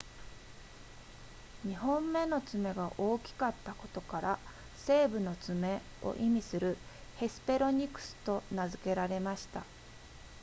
2本目の爪が大きかったことから西部の爪を意味するヘスペロニクスと名付けられました